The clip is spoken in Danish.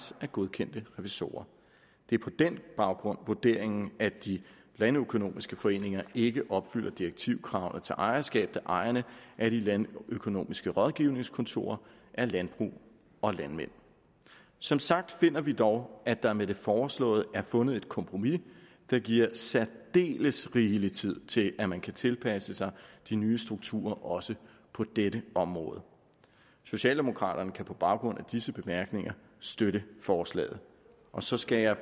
af godkendte revisorer det er på den baggrund vurderingen at de landøkonomiske foreninger ikke opfylder direktivkravene til ejerskab da ejerne af de landøkonomiske rådgivningskontorer er landbrug og landmænd som sagt finder vi dog at der med det foreslåede er blevet fundet et kompromis der giver særdeles rigelig tid til at man kan tilpasse sig de nye strukturer også på dette område socialdemokraterne kan på baggrund af disse bemærkninger støtte forslaget så skal jeg